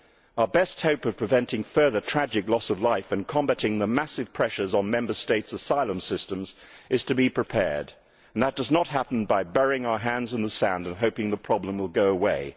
Our best hope of preventing further tragic loss of life and combating the massive pressures on Member States' asylum systems is to be prepared, and that does not happen by burying our heads in the sand and hoping the problem will go away.